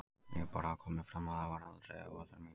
Ég vil bara að það komi fram að það var aldrei ætlun mín.